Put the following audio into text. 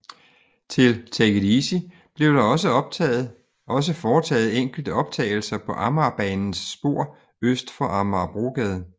Til Take It Easy blev der dog også foretaget enkelte optagelser på Amagerbanens spor øst for Amagerbrogade